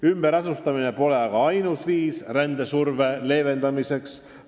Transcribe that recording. Ümberasustamine pole aga ainus viis rändesurve leevendamiseks.